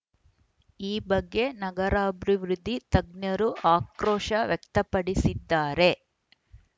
ಈ ಬಗ್ಗೆ ನಗರಾಬ್ರಿ ವೃದ್ಧಿ ತಜ್ಞರು ಆಕ್ರೋಶ ವ್ಯಕ್ತಪಡಿಸಿದ್ದಾರೆ